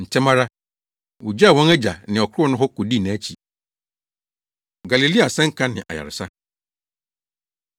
Ntɛm ara, wogyaw wɔn agya ne ɔkorow no hɔ kodii nʼakyi. Galilea Asɛnka Ne Ayaresa